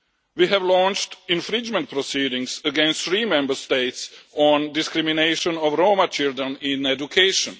We have launched infringement proceedings against three Member States on discrimination against Roma children in education.